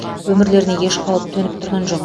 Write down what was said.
өмірлеріне еш қауіп төніп тұрған жоқ